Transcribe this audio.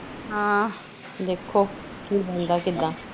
ਦੇਖੋ ਕਿ ਬਣਦਾ